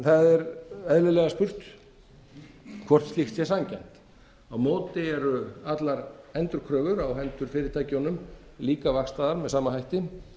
það er eðlilega spurt hvort slíkt sé sanngjarnt á móti eru allar endurkröfur á hendur fyrirtækjunum líka vaxtaðar með sama hætti